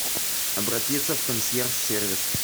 обратиться в консьерж сервис